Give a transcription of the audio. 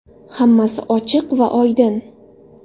Hammasi ochiq va oydin!